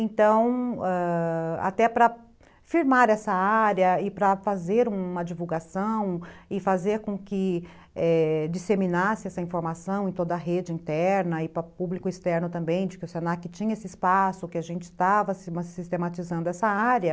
Então, ãh... até para firmar essa área e para fazer uma divulgação e fazer com que, é... disseminasse essa informação em toda a rede interna e para o público externo também, de que o se na que tinha esse espaço, que a gente estava sistematizando essa área,